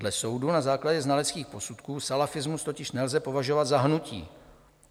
Dle soudu na základě znaleckých posudků salafismus totiž nelze považovat za hnutí.